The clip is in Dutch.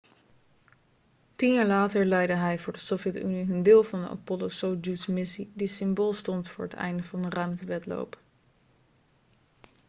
tien jaar later leidde hij voor de sovjet-unie hun deel van de apollo-soyuz-missie die symbool stond voor het einde van de ruimtewedloop